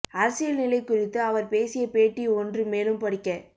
அரசியல் நிலை குறித்து அவர் பேசிய பேட்டி ஒன்று மேலும் படிக்க